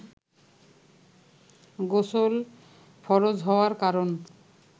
গোসল ফরজ হওয়ার কারন